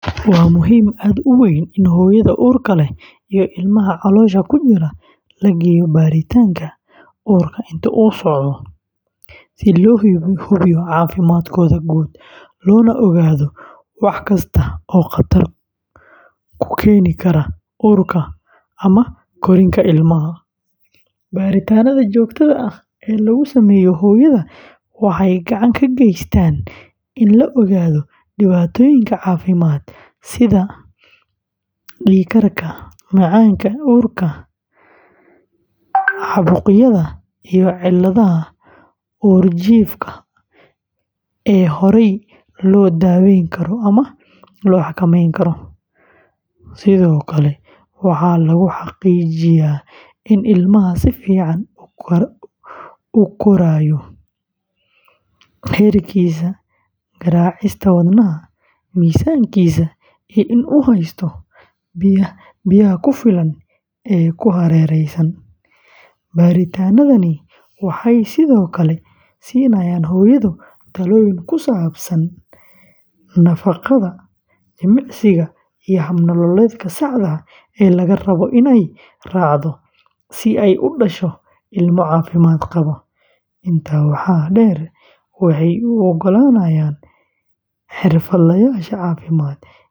Waa muhiim aad u weyn in hooyada uurka leh iyo ilmaha caloosha ku jira la geeyo baaritaanka uurka inta uu socdo, si loo hubiyo caafimaadkooda guud, loona ogaado wax kasta oo khatar ku keeni kara uurka ama korriinka ilmaha. Baaritaannada joogtada ah ee lagu sameeyo hooyada waxay gacan ka geystaan in la ogaado dhibaatooyinka caafimaad sida dhiig karka, macaanka uurka, caabuqyada iyo cilladaha uurjiifka ee horey loo daweyn karo ama loo xakameyn karo. Sidoo kale, waxaa lagu xaqiijiyaa in ilmaha si fiican u korayo, heerkiisa garaacista wadnaha, miisaankiisa, iyo in uu haysto biyaha ku filan ee ku hareeraysan. Baaritaannadani waxay sidoo kale siinayaan hooyada talooyin ku saabsan nafaqada, jimicsiga, iyo hab nololeedka saxda ah ee laga rabo inay raacdo si ay u dhasho ilmo caafimaad qaba. Intaa waxaa dheer, waxay u ogolaanayaan xirfadlayaasha caafimaad inay si degdeg ah.